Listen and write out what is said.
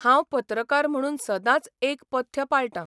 हांव पत्रकार म्हणून सदांच एक पथ्य पाळटां.